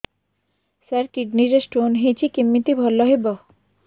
ସାର kidney ରେ stone ହେଇଛି କମିତି ଭଲ ହେବ